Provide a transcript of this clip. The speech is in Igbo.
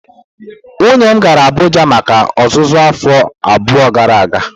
Nwunye m gara Abuja maka ọzụzụ afọ abụọ gara aga.